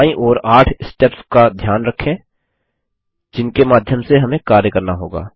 बायीं ओर 8 स्टेप्स का ध्यान रखें जिनके माध्यम से हमें कार्य करना होगा